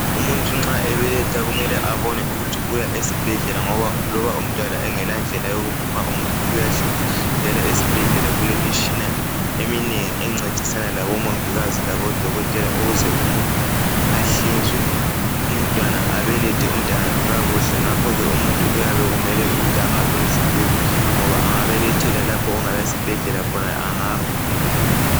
Umuntu nxa ebeletha kumele abone ukuthi uya esibhedlela ngoba loba umntwana engela ndlela yokuphuma umuntu uyahlinzwa njalo ezibhedlela kulemitshina eminengi encedisana labomongikazi labodokotela ukuze umuntu ahlinzwe abelethe umntanakhe kakuhle ngakho ke umuntu kuyabe kumele ukuba ahambe esibhedlela ngoba engabelethela lapho okungelasibhedlela khona angafa